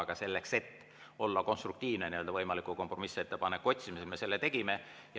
Aga selleks, et olla konstruktiivne võimaliku kompromissettepaneku otsimisel, me selle tegime.